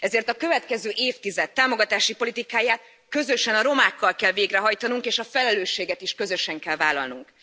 Ezért a következő évtized támogatási politikáját közösen a romákkal kell végrehajtanunk, és a felelősséget is közösen kell vállalnunk.